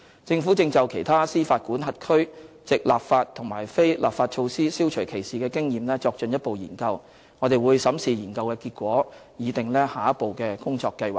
政府正就其他司法管轄區藉立法和非立法措施消除歧視的經驗作進一步研究，我們會審視研究結果，擬訂下一步工作計劃。